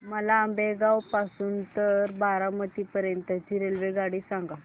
मला आंबेगाव पासून तर बारामती पर्यंत ची रेल्वेगाडी सांगा